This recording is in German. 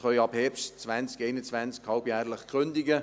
Ab Herbst 2021 können wir halbjährlich kündigen.